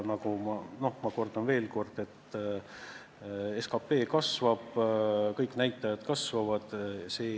Ma kordan veel kord: SKP kasvab, kõik näitajad kasvavad.